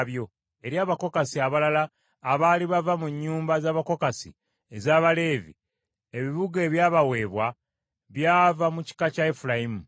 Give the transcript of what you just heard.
Eri Abakokasi abalala abaali bava mu nnyumba z’Abakokasi ez’Abaleevi ebibuga ebyabaweebwa byava mu kika kya Efulayimu.